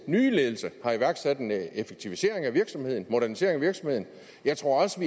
nye ledelse har iværksat en effektivisering af virksomheden modernisering af virksomheden jeg tror også